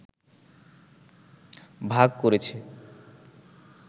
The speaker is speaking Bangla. ভাগ করেছে